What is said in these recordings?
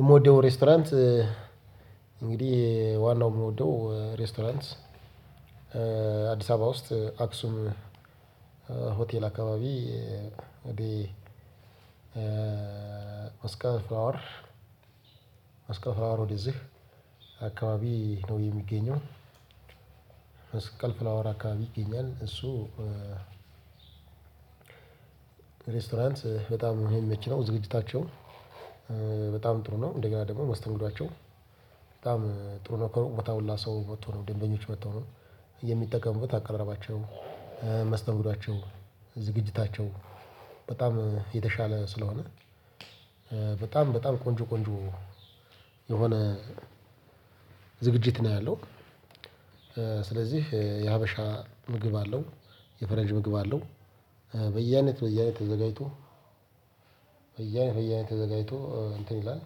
የምወደው ሬስቶራንት እንግዲህ ዋናው የምንወደው ሬስቶራንትስ አዲስ አበባ ውስጥ አክሱም ሆቴል አከባቢ ኦዴ ኦስካ ፍላወር ኦስካ ፍላወር ወደዚህ አካባቢ ነው የሚገኘው መስቀል ፍላወራ አካባቢ ይገኛል እሱ ሬስቶራንት በጣም የሚመች ነው ዝግጅታቸውን በጣም ጥሩ ነው እንደገና ደግሞ መስተንግዷቸው በጣም ጥሩ ነው። ከሩቅ ቦታ ሁላ ሰው ወጥቶ ነው ደንበኞች ወጥቶ ነው የሚጠቀሙበት አቀራረባቸ፣ መስተውሏቸው፣ ዝግጅታቸው በጣም የተሻለ ስለሆነ በጣም በጣም ቆንጆ ቆንጆ የሆነ ዝግጅት ነው ያለው። ስለዚህ የሀበሻ ምግብ አለው የፈረንጅ ምግብ አለው። በየአይነት በየአይነት ተዘጋጅቶ በየአይነት በየአይነት ተዘጋጅቶ እንትን ይላል።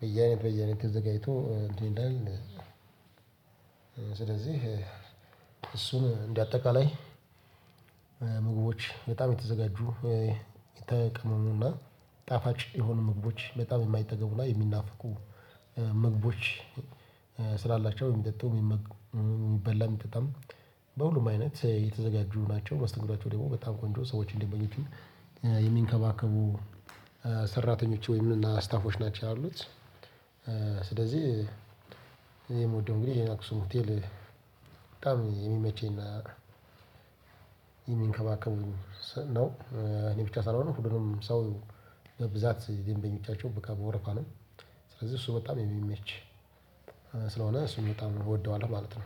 በየአይነት በየአይነት ተዘጋጅቶ እንትን ይላል። ስለዚህ እሱን እንደአጠቃላይ ምግቦች በጣም የተዘጋጁ የተቀመሙና ጣፋጭ የሆኑ ምግቦች በጣም የማይጠገቡ ላይ የሚናፍቁ። ምግቦች ስላላቸው የሚጠጡ የሚመገቡ የሚበላ የሚጠጣም በሁሉም አይነት የተዘጋጁ ናቸው። መስተንግዷቸው ደግሞ በጣም ቆንጆ ሰዎችን ደንበኞችን የሚንከባከቡ ሰራተኞች ወይም እና ስታፎች ናቸው ያሉት። ስለዚህ እኔ የምወደው እንግዲህ አክሱም ሆቴል በጣም የሚመቸኝ እና የሚንከባከብ ነው እኔ ብቻ ሳልሆን ሁሉም ሰው ለብዛት ደንበኛዎቻቸው በቃ በወረፋ ነው። ስለዚህ እሱ በጣም የሚመች ስለሆነ እሱን በጣም እወደዋለሁ ማለት ነው።